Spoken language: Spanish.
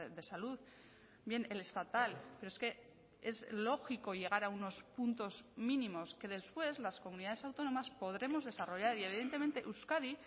de salud bien el estatal pero es que es lógico llegar a unos puntos mínimos que después las comunidades autónomas podremos desarrollar y evidentemente euskadi